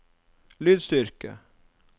lydstyrke